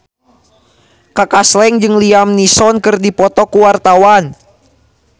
Kaka Slank jeung Liam Neeson keur dipoto ku wartawan